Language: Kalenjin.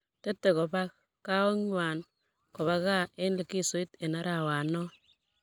Tetei kobak kaoikng'wang kobak kaa eng likizoit eng arawanoo.